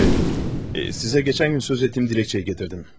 Şey, sizə keçən gün söz etdiyim diləkçəyi gətirdim.